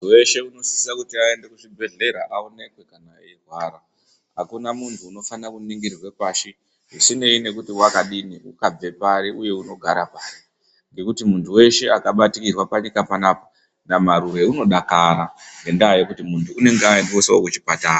Muntu weshe unosisa kuti aende kuchibhehlera aonekwe kana eirwara. Hakuna muntu unofana kuningirirwa pashi, zvisinei nekuti wakadini, wakabve pari uye unogara pari. Ngekuti muntu weshe akabatikirwa panyika panaapa, naMarure unodakara ngendaa yekuti muntu unenge aendeswa kuchipatara.